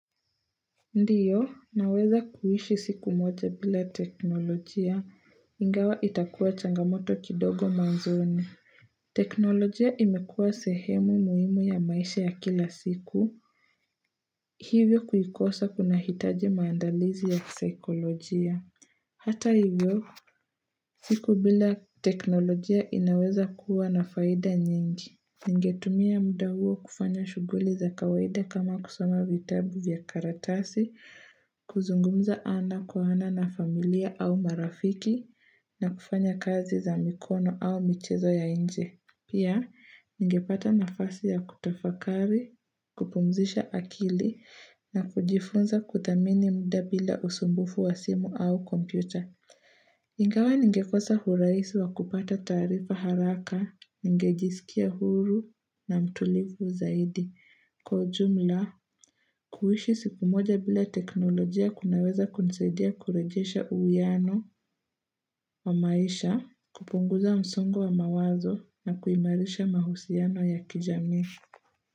Ndiyo, naweza kuishi siku moja bila teknolojia, ingawa itakuwa changamoto kidogo mwanzoni. Teknolojia imekuwa sehemu muhimu ya maisha ya kila siku. Hivyo kuikosa kunahitaji maandalizi ya saikolojia. Hata hivyo, siku bila teknolojia inaweza kuwa na faida nyingi. Ningetumia muda huo kufanya shughuli za kawaida kama kusoma vitabu vya karatasi, kuzungumza ana kwa ana na familia au marafiki, na kufanya kazi za mikono au michezo ya nje. Pia, ningepata nafasi ya kutafakari, kupumzisha akili, na kujifunza kuthamini mda bila usumbufu wa simu au kompyuta. Ingawa ningekosa uraisi wa kupata taarifa haraka, ningejiskia huru na mtulivu zaidi. Kwa jumla, kuhishi siku moja bila teknolojia kunaweza kunisaidia kurejesha uuyano wa maisha, kupunguza msongo wa mawazo na kuimarisha mahusiano ya kijamii.